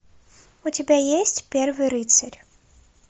у тебя есть первый рыцарь